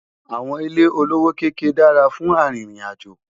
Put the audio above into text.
àwọn ilé olówó kéké dára fún àrin ìrìn àjò